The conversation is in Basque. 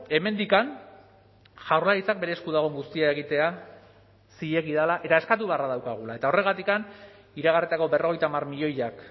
hemendik jaurlaritzak bere esku dagoen guztia egitea zilegi dela eta eskatu beharra daukagula eta horregatik iragarritako berrogeita hamar milioiak